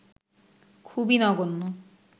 খুবই নগন্য